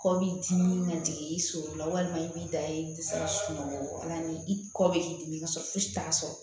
Kɔ b'i dimi ka jigin i sunɔgɔ la walima i b'i da yen i tɛ se ka sunɔgɔ la ni i kɔ bɛ k'i dimi ka sɔrɔ fosi t'a sɔrɔ